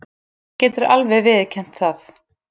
Hún getur alveg viðurkennt það.